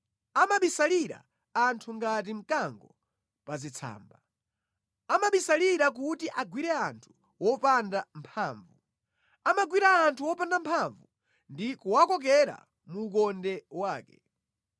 Amabisalira anthu ngati mkango pa zitsamba. Amabisalira kuti agwire anthu opanda mphamvu; amagwira anthu opanda mphamvu ndi kuwakokera mu ukonde wake.